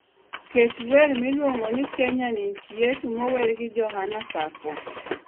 Ket wer miluongi ni kenya ni nchi yetu mower gi johana sakwa